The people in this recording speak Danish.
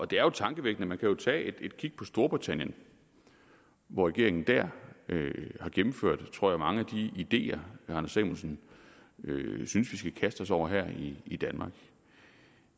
det er tankevækkende man kan jo tage et kig på storbritannien hvor regeringen har gennemført tror jeg mange af de ideer herre anders samuelsen synes vi skal kaste os over her i danmark